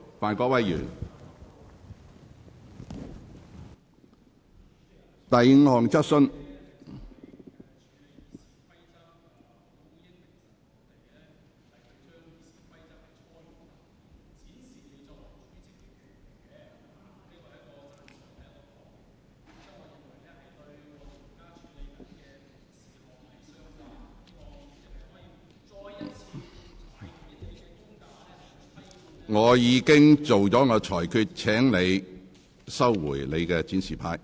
范議員，我已作出裁決，請你把展示牌收起。